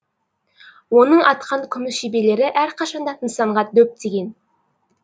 оның атқан күміс жебелері әрқашанда нысанға дөп тиген